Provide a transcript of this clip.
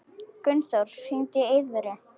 Gunnþór, hringdu í Eiðvöru.